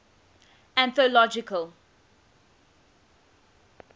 anthological